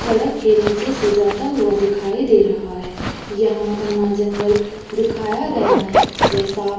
सड़क के नीचे से जाता हुआ दिखाई दे रहा है। यहां घना जंगल दिखाया गया है। वह साफ --